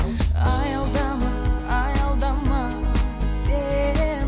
аялдама аялдама сен